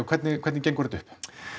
hvernig hvernig gengur þetta upp